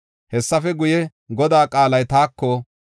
Hessafe guye, Godaa qaalay taako,